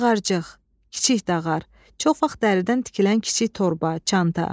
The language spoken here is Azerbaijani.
Dağarcıq, kiçik dağar, çox vaxt dəridən tikilən kiçik torba, çanta.